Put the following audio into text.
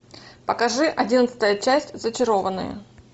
покажи одиннадцатая часть зачарованные